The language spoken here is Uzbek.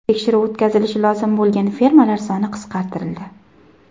Tekshiruv o‘tkazilishi lozim bo‘lgan firmalar soni qisqartirildi.